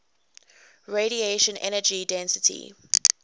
radiation energy density